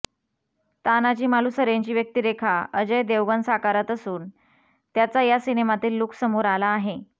तानाजी मालूसरेंची व्यक्तिरेखा अजय देवगण साकारत असून त्याचा या सिनेमातील लूक समोर आला आहे